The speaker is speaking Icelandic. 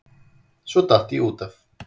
Svo datt ég út af.